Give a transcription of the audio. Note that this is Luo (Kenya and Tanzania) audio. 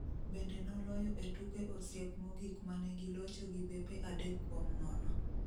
Bende noloyo e tuke osiep mogik mane gilocho gi bepe adek kuom nono